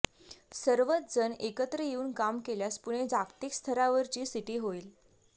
सर्वच जण एकत्र येऊन काम केल्यास पुणे जागतिक स्तरावरची सिटी होईल